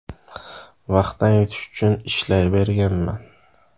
Vaqtdan yutish uchun ishlayverganman.